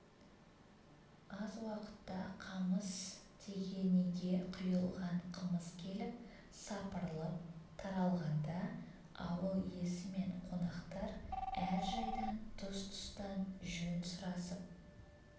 аз уақытта қамыс тегенеге құйылған қымыз келіп сапырылып таралғанда ауыл иесі мен қонақтар әр жайдан тұс-тұстан жөн сұрасып